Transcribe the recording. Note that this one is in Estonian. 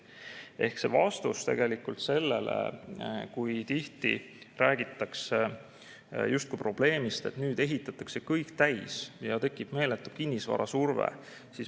See oli vastus ka sellele, et tihti räägitakse justkui probleemist, et nüüd ehitatakse kõik täis ja tekib meeletu kinnisvarasurve.